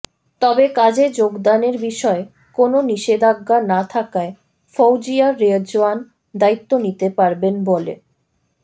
তবে কাজে যোগদানের বিষয়ে কোনো নিষেধাজ্ঞা না থাকায় ফওজিয়া রেজওয়ান দায়িত্ব নিতে পারবেন বলে